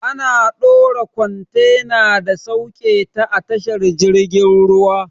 Ana dora kwantena da sauketa a tashar jirgin ruwa.